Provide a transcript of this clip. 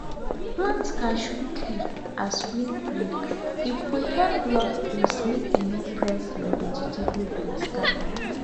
plant cashew tree as windbreake go help block breeze make e no press your vegetable bed scatter